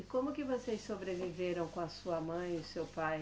E como que vocês sobreviveram com a sua mãe e o seu pai?